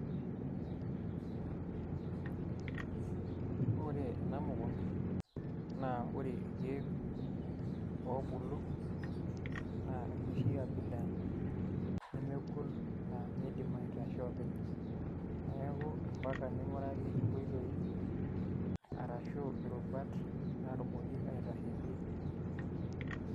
Ore ena mukunda naa ore irkeek oobulu naa enoshi abila nemegol naa miidim aitasho oopeny neeku ombaka ning'uraki nkoitoi arashu irupat naatumoki aitasheyie.